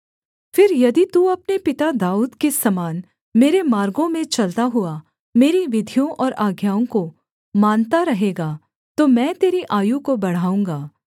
फिर यदि तू अपने पिता दाऊद के समान मेरे मार्गों में चलता हुआ मेरी विधियों और आज्ञाओं को मानता रहेगा तो मैं तेरी आयु को बढ़ाऊँगा